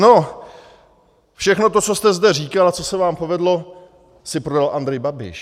No, všechno to, co jste zde říkala, co se vám povedlo, si prodal Andrej Babiš.